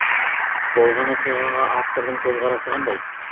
болған оқиғаға автордың көзқарасы қандай